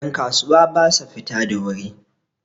yankasuwa ba sa fita da wuri